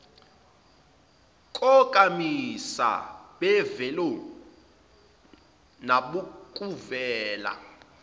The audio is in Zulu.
konkamisa bemvelo nabokuvela